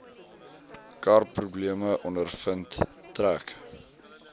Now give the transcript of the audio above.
karprobleme ondervind trek